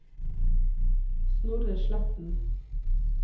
Snorre Sletten